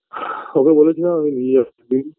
BREATHE ওকে বলেছিলাম আমি নিয়ে আসছি